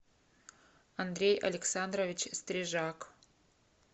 андрей александрович стрижак